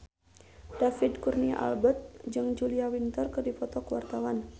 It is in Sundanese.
David Kurnia Albert jeung Julia Winter keur dipoto ku wartawan